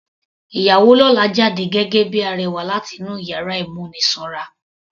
Ìyàwó lọ́la jáde gẹ́gẹ́ bíi arẹwà láti inú yàrá ìmúnisanra.